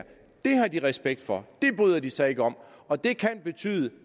har de respekt for det bryder de sig ikke om og det kan betyde